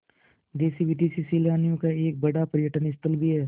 देशी विदेशी सैलानियों का एक बड़ा पर्यटन स्थल भी है